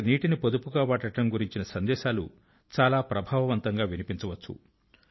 అక్కడ నీటిని పొదుపుగా వాడడం గురించిన సందేశాలు చాలా ప్రభావవంతంగా వినిపించవచ్చు